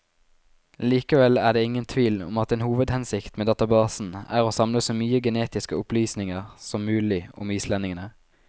Likevel er det ingen tvil om at en hovedhensikt med databasen er å samle så mye genetiske opplysninger som mulig om islendingene.